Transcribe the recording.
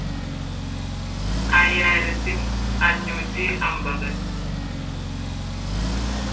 അയ്യായിരത്തി അഞ്ഞൂറ്റി അൻപത്